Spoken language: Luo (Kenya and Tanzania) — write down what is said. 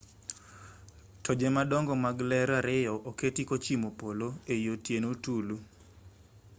toje madongo mag ler ariyo oketi kochimo polo ei otieno tulu